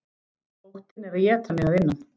Óttinn er að éta mig að innan.